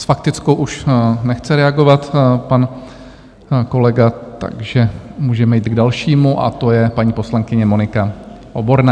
S faktickou už nechce reagovat pan kolega, takže můžeme jít k dalšímu, a to je paní poslankyně Monika Oborná.